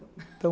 Então...